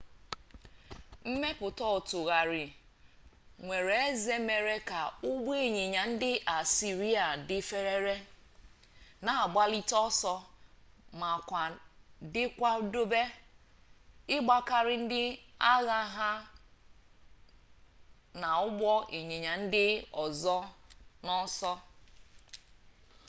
mmepụta ọtụgharị nwere eze mere ka ụgbọịnyịnya ndị asịrịa dị ferefere na-agbalite ọsọ ma ka dị nkwadebe ịgbakarị ndị agha na ụgbọịnyịnya ndị ọzọ n'ọsọ